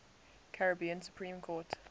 caribbean supreme court